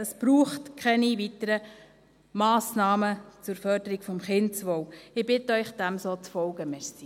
Es braucht keine weiteren Massnahmen zur Förderung des Kindeswohls.